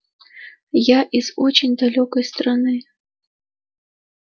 я из очень далёкой страны